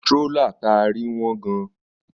Strólà ta rí wọ́n gan-an